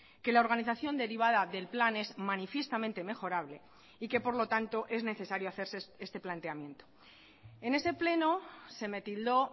que la organización derivada del plan es manifiestamente mejorable y que por lo tanto es necesario hacerse este planteamiento en ese pleno se me tildó